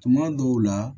Tuma dɔw la